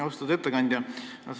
Austatud ettekandja!